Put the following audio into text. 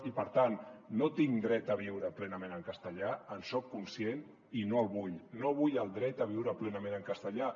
i per tant no tinc dret a viure plenament en castellà en soc conscient i no el vull no vull el dret a viure plenament en castellà